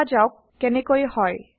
দেখা যাওক160কেনেকৈ হয়